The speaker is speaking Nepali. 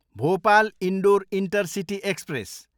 Bhopal, Indore intercity express